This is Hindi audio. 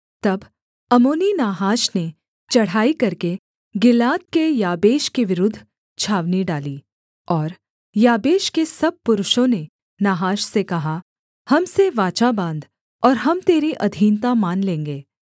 तब अम्मोनी नाहाश ने चढ़ाई करके गिलाद के याबेश के विरुद्ध छावनी डाली और याबेश के सब पुरुषों ने नाहाश से कहा हम से वाचा बाँध और हम तेरी अधीनता मान लेंगे